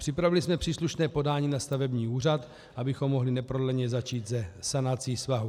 Připravili jsme příslušné podání na stavební úřad, abychom mohli neprodleně začít se sanací svahu.